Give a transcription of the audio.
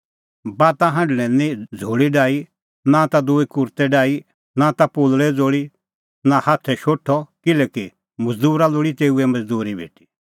बाता हांढणा लै नां झ़ोल़ी डाही नां ता दूई कुर्तै डाही नां ता पोलल़े ज़ोल़ी नां हाथै शोठअ किल्हैकि मज़दूरा लोल़ी तेऊए मज़दूरी भेटी